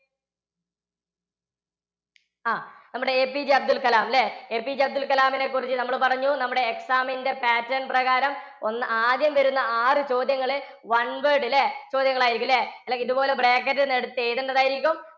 ആ നമ്മുടെ APJ അബ്ദുൽ കലാം അല്ലേ APJ അബ്ദുൽ കലാമിനെ കുറിച്ച് നമ്മൾ പറഞ്ഞു നമ്മുടെ exam ന് pattern പ്രകാരം ഒന്ന് ആദ്യം വരുന്ന ആറു ചോദ്യങ്ങൾ one word ല്ലേ ചോദ്യങ്ങൾ ആയിരിക്കും ല്ല? ഇതുപോലെ bracket ൽ നിന്ന് എടുത്ത് എഴുതേണ്ടത് ആയിരിക്കും